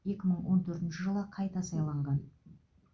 екі мың он төртінші жылы қайта сайланған